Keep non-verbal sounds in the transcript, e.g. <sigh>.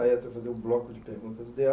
A <unintelligible> vai fazer o bloco de perguntas